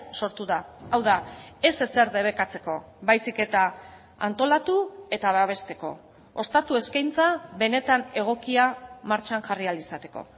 sortu da hau da ez ezer debekatzeko baizik eta antolatu eta babesteko ostatu eskaintza benetan egokia martxan jarri ahal izateko